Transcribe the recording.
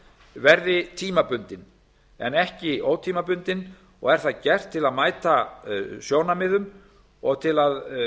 verði tímabundin en ekki ótímabundin og er það gert til að mæta sjónarmiðum og til að